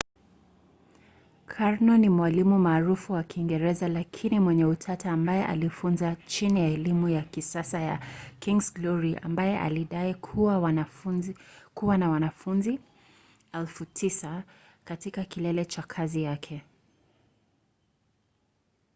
karno ni mwalimu maarufu wa kiingereza lakini mwenye utata ambaye alifunza chini ya elimu ya kisasa na king's glory ambaye alidai kuwa na wanafunzi 9,000 katika kilele cha kazi yake